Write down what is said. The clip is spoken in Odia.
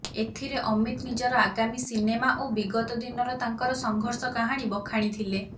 ଏଥିରେ ଅମିତ ନିଜର ଆଗାମୀ ସିନେମା ଓ ବିଗତ ଦିନର ତାଙ୍କର ସଂଘର୍ଷ କାହାଣୀ ବଖାଣିଥିଲେ